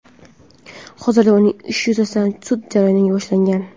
Hozirda uning ishi yuzasidan sud jarayoni boshlangan.